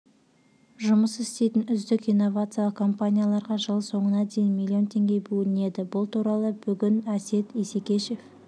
жұмыс істейтін үздік инновациялық компанияларға жыл соңына дейін млн теңге бөлінеді бұл туралы бүгінәсет исекешев